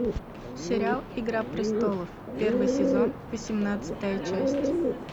сериал игра престолов первый сезон восемнадцатая часть